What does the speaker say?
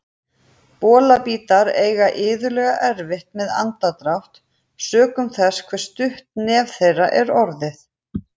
Bolabítar eiga iðulega erfitt með andardrátt sökum þess hve stutt nef þeirra er orðið.